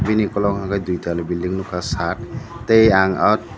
bini ongkulukgo hwnkhe dui tala building nukha chat tei ang oh.